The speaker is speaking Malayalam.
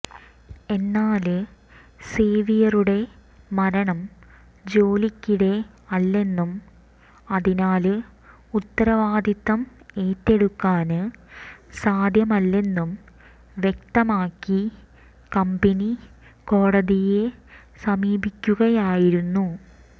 എന്നാല് സേവിയറുടെ മരണം ജോലിക്കിടെ അല്ലെന്നും അതിനാല് ഉത്തരവാദിത്തം ഏറ്റെടുക്കാന് സാധ്യമല്ലെന്നും വ്യക്തമാക്കി കമ്പനി കോടതിയെ സമീപിക്കുകയായിരുന്നു